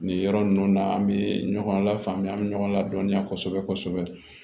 Nin yɔrɔ ninnu na an bɛ ɲɔgɔn lafaamuya an bɛ ɲɔgɔn ladɔnniya kosɛbɛ kosɛbɛ